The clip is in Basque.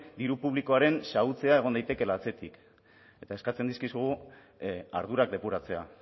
diru publikoaren xahutzea egon daitekeela atzetik eta eskatzen dizkigu ardurak depuratzea